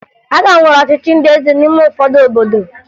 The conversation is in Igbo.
A ka nwere ọchịchị ndị eze n'ime ụfọdụ obodo